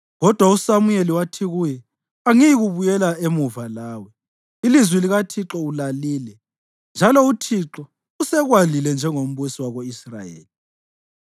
Kodwa uSamuyeli wathi kuye, “Angiyikubuyela emuva lawe. Ilizwi likaThixo ulalile, njalo uThixo usekwalile njengombusi wako-Israyeli!”